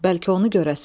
Bəlkə onu görəsən.